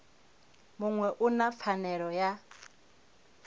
muṅwe u na pfanelo ya